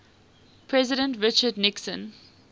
president richard nixon